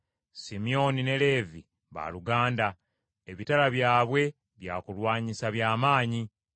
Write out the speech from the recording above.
Simyoni ne Leevi baaluganda, ebitala byabwe byakulwanyisa bya maanyi.